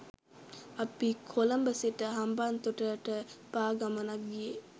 අපි කොළඹ සිට හම්බන්තොටට පා ගමනක් ගියේ.